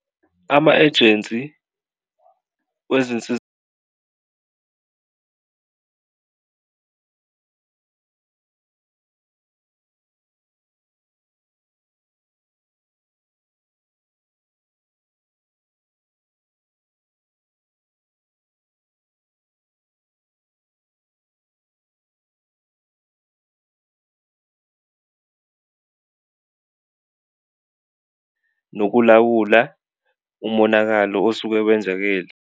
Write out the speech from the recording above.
Ama-ejensi nokulawula umonakalo osuke wenzakele.